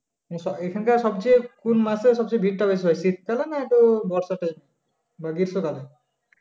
হম স~ এখানকার সবচেয়ে কোন মাসে সবচেয়ে ভীড়টা বেশি হয় শীতকালে না তো বর্ষাতে বা গ্রীষ্মকালে